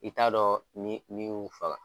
I t'a dɔn ni ni y'u faga.